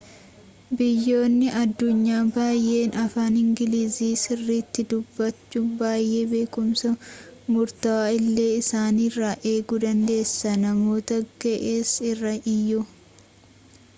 biyyoonni addunyaa baayyeen afaan ingiliiziii sirriitti dubbatu baayyee beekumsa murtawaa illee isaanirraa eeguu dandeessa namoota ga'eessa irraa iyyuu